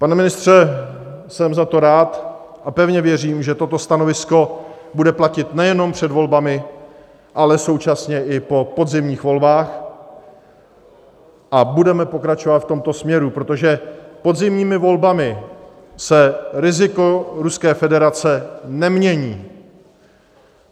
Pane ministře, jsem za to rád a pevně věřím, že toto stanovisko bude platit nejenom před volbami, ale současně i po podzimních volbách a budeme pokračovat v tomto směru, protože podzimními volbami se riziko Ruské federace nemění.